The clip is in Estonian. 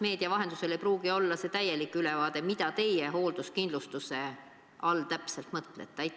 Meedia vahendusel ei pruugi me saada täielikku ülevaadet, mida te hoolduskindlustuse all täpselt mõtlete.